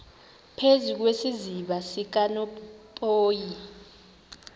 phezu kwesiziba sikanophoyi